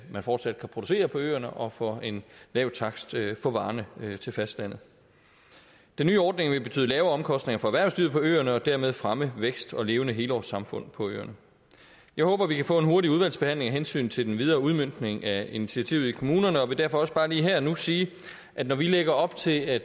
man fortsat kan producere på øerne og for en lav takst få varerne til fastlandet den nye ordning vil betyde lavere omkostninger for erhvervslivet på øerne og dermed fremme vækst og levende helårssamfund på øerne jeg håber at vi kan få en hurtig udvalgsbehandling af hensyn til den videre udmøntning af initiativet i kommunerne og vil derfor også bare lige her og nu sige at når vi lægger op til at